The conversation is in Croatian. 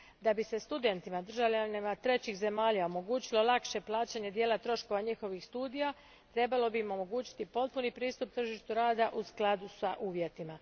Da bi se studentima državljanima trećih zemalja omogućilo lakše plaćanje dijela troškova njihovih studija, trebalo bi im omogućiti potpuni pristup tržištu rada u skladu s uvjetima.